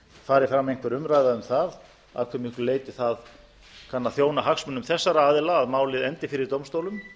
fari fram einhver umræða um það að hve miklu leyti það kann að þjóna hagsmunum þessara aðila að málið endi fyrir dómstólum